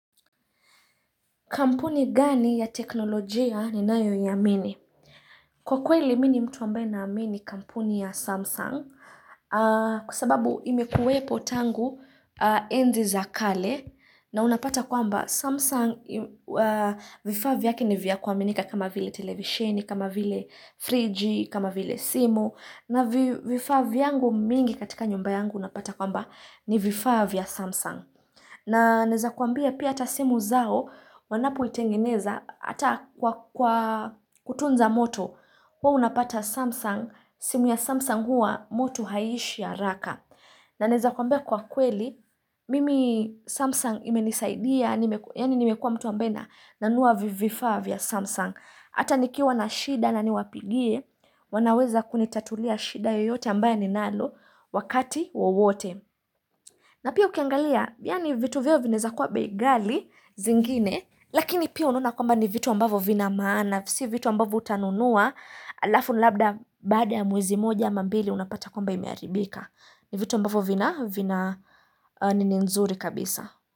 Kampuni gani ya teknolojia ninayo iamini? Kwa kweli mi ni mtu ambaye naamini kampuni ya Samsung kwa sababu imekuwepo tangu enzi za kale na unapata kwamba Samsung vifaa vyake ni vya kuaminika kama vile televisheni, kama vile friji, kama vile simu na vifaa vyangu mingi katika nyumba yangu unapata kwamba ni vifaa vya Samsung. Na naweza kuambia pia hata simu zao wanapotengeneza hata kwa kwa kutunza moto, huwa unapata Samsung, simu ya Samsung huwa moto haiishi haraka. Na naweza kuambia kwa kweli, mimi Samsung imenisaidia, yaani nimekua mtu ambaye nanunua vifaa vya Samsung. Hata nikiwa na shida na niwapigie, wanaweza kunitatulia shida yoyote ambaye ninalo wakati wowote. Na pia ukiangalia, yaani vitu vyao vinaweza kuwa bei ghali zingine, lakini pia unaona kwamba ni vitu ambavo vina maana, si vitu ambavo utanunua, alafu labda baada ya mwezi moja ama mbili unapata kwamba imeharibika. Ni vitu ambavo vina, vina nini nzuri kabisa.